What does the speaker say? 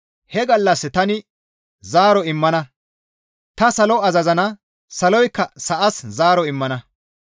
«He gallas tani zaaro immana; tani salo azazana; saloykka sa7as zaaro immana.